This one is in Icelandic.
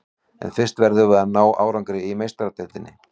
En fyrst verðum við að ná árangri í Meistaradeildinni.